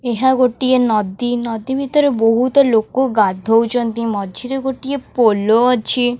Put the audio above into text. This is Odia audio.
ଏହା ଗୋଟେଏ ନଦୀ ନଦୀ ଭିତରେ ବହୁତ ଲୋକ ଗାଧୋଉଛନ୍ତି ମଝିରେ ଗୋଟେଏ ପୋଲୋ ଅଛି।